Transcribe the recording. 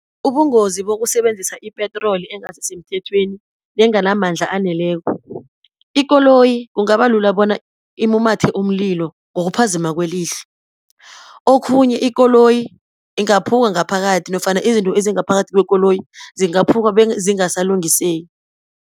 Ubungozi bokusebenzisa ipetroli engasisemthethweni, nenganamandla aneleko, ikoloyi kungabalula bona ilumathe umlilo ngokuphazima kwelihlo. Okhunye ikoloyi ingaphuka ngaphakathi, nofana izinto ezingaphakathi kwekoloyi zingaphuka bezingasalungiseki.